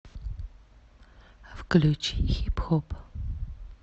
включи хип хоп